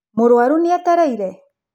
Mũrũaru nĩ etereire?